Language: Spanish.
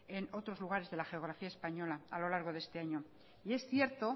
en otros lugares de la geografía española a lo largo de este año y es cierto